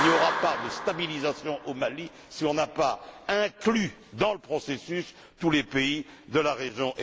Il n'y aura pas de stabilisation au Mali si on n'a pas inclus dans le processus tous les pays de la région.